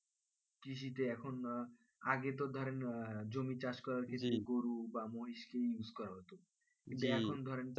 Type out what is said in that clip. কৃষিতে এখন আগে তো ধরেন জমি চাষ করা মানে গরু বা মহিষ কেই use করাতো